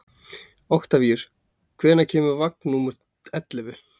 Oktavíus, hvenær kemur vagn númer ellefu?